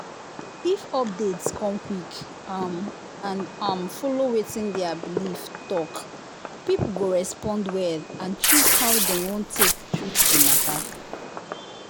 if update come quick um and um follow wetin their belief talk people go respond well and choose how dem wan take treat the matter.